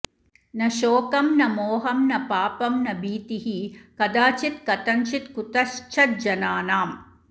न शोकम् न मोहम् न पापं न भीतिः कदाचित्कथंचित्कुतश्चज्जनानाम्